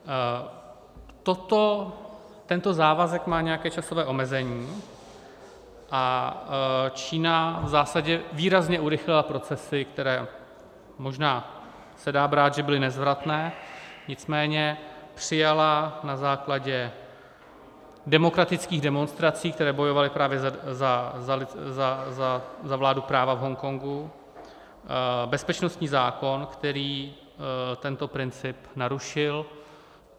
Tento závazek má nějaké časové omezení a Čína v zásadě výrazně urychlila procesy, které, možná se dá brát, že byly nezvratné, nicméně přijala na základě demokratických demonstrací, které bojovaly právě za vládu práva v Hongkongu, bezpečnostní zákon, který tento princip narušil.